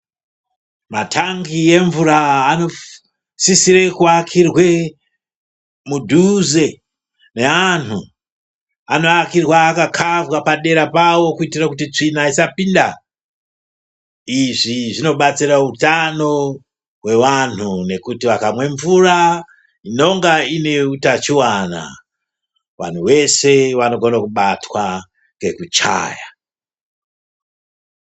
Matangi nemvura anosisa kuakirwe mudhuze neantu anoakirwa akakavha padera pawo kuitira kuti tsvina isapinda izvi zvinobatsira utano hwevanhu nekuti vakamwa mvura inenge ine utachiwana vantu veshe vanogona kubatwa ngekuchaya.